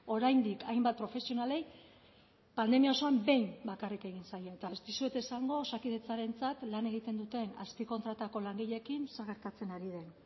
oraindik hainbat profesionalei pandemia osoan behin bakarrik egin zaie eta ez dizuet esango osakidetzarentzat lan egiten duten azpi kontratako langileekin zer gertatzen ari den